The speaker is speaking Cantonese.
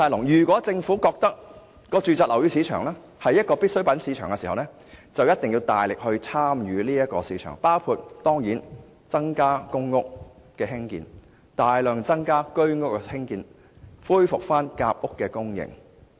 如果政府覺得住宅樓宇是必需品市場，便必須大力參與其中，包括增建公屋、大量增建居屋，以及恢復夾屋供應。